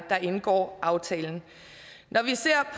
der indgår aftalen